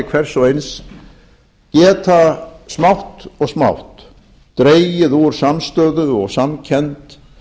hvers og eins geta smátt og smátt dregið úr samstöðu og samkennd